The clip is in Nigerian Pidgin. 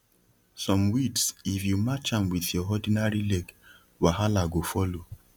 some weeds if you match am with your ordinary leg wahala go follow